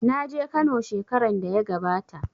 Na je Kano shekaran da ya gabata.